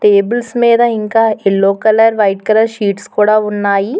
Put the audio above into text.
Tables మీద ఇంకా yellow colour white colour sheets కూడా ఉన్నాయి.